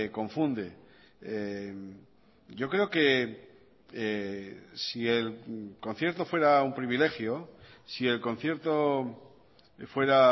confunde yo creo que si el concierto fuera un privilegio si el concierto fuera